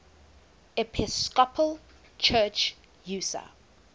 episcopal church usa